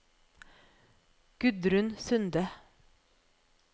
Gudrun Sunde